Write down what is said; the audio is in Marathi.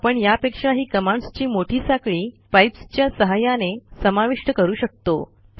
आपण यापेक्षाही कमांडस् ची मोठी साखळी पाइप्स च्या सहाय्याने समाविष्ट करू शकतो